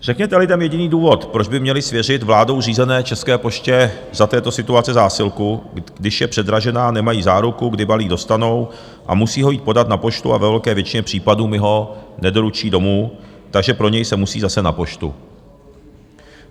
Řekněte lidem jediný důvod, proč by měli svěřit vládou řízené České poště za této situace zásilku, když je předražená, nemají záruku, kdy balík dostanou, a musí ho jít podat na poštu a ve velké většině případů mu ho nedoručí domů, takže pro něj se musí zase na poštu.